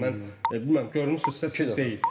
Yəni mən bilmirəm görmüsünüzsə siz deyil.